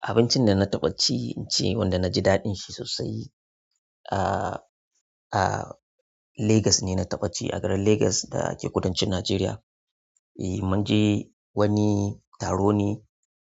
Abincin da na taɓa ci, in ce wanda na ji daɗin shi sosai. Ah, ah Lagos ne na taɓa ci, a garin Lagos da ke kudancin Najeriya. E, mun je wani taro ne,